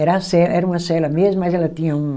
Era a ce, era uma cela mesmo, mas ela tinha um...